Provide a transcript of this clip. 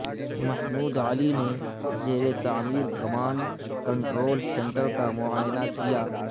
محمود علی نے زیرتعمیر command control centre کا معائنہ کیا